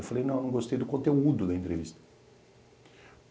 Eu falei, não, eu não gostei do conteúdo da entrevista.